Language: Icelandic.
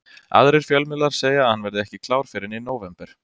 Aðrir fjölmiðlar segja að hann verði ekki klár fyrr en í nóvember.